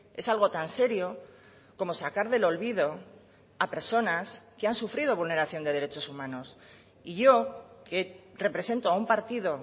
es algo tan serio como sacar del olvido a personas que han sufrido vulneración de derechos humanos y yo que represento a un partido